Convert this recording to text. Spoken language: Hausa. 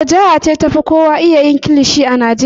Wace jiha ce ta fi kowa iya yin kilishi a Najeriya?